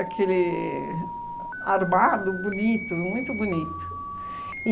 armado, bonito, muito bonito.